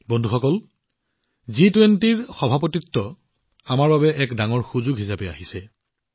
বন্ধুসকল জি২০ৰ অধ্যক্ষতা আমাৰ বাবে এক ডাঙৰ সুযোগ হিচাপে বিবেচিত হৈছে